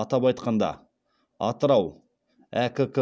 атап айтқанда атырау әкк